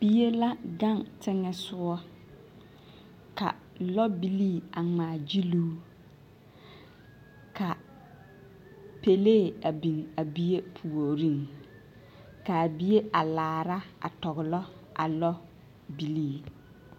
Bie la gaŋe teŋԑ sogͻ, ka lͻbilii a ŋmaa gyiluu. Ka pelee a biŋ a bie puoriŋ, ka a bie a laara a tͻgelͻ a lͻbilii.